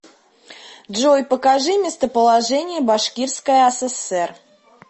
джой покажи местоположение башкирская асср